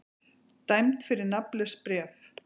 Dæmd fyrir nafnlaust bréf